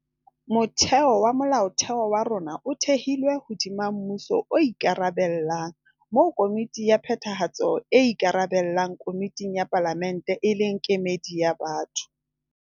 Motheo wa Molaotheo wa rona o thehilwe hodima mmuso o ikarabella, moo Komiti ya Phethahatso e ikarabellang komiting ya Palamente e leng kemedi ya batho.